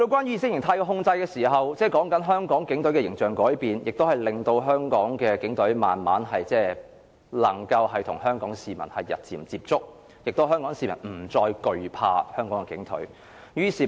意識形態的控制令香港警隊的形象改變，亦令香港警隊慢慢能與香港市民接觸，香港市民不再懼怕香港警隊。